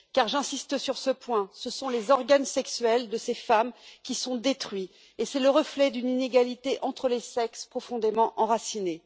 En effet j'insiste sur ce point ce sont les organes sexuels de ces femmes qui sont détruits et c'est le reflet d'une inégalité entre les sexes profondément enracinée.